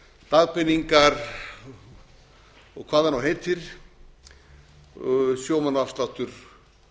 dagpeningar og hvað það nú heitir sjómannaafsláttur